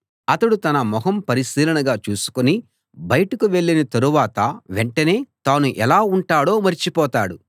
అతడు తన మొహం పరిశీలనగా చూసుకుని బయటకు వెళ్ళిన తరువాత వెంటనే తాను ఎలా ఉంటాడో మరిచిపోతాడు